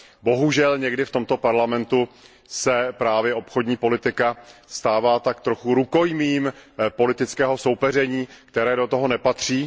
Bohužel někdy v tomto Parlamentu se právě obchodní politika stává tak trochu rukojmím politického soupeření, které do toho nepatří.